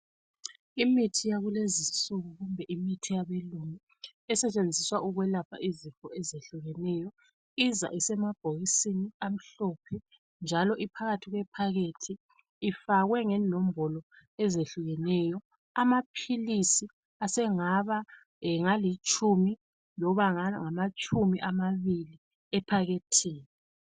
Imithi yakulezinsuku yimithi yabelungu esetshenziswa ukwelapha izifo ezehlukeneyo. Iza isemabhokisini amhlophe njalo iphakathi kwephakethi lifakwe ngenombolo ezehlukeneyo. Amaphilisi asengaba ngalitshumi noma ngamatshumi amabili ephakethini.